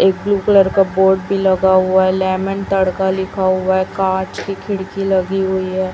एक blue colour का board भी लगा हुआ है लेमन तड़का लिखा हुआ है कांच की खिड़की लगी हुई है।